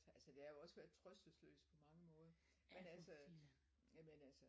Altså det har jo også været trøstesløst på mange måder men altså jamen altså